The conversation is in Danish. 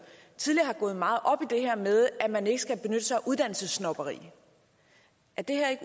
tidligere har gået meget op i det her med at man ikke skal benytte sig af uddannelsessnobberi er det her ikke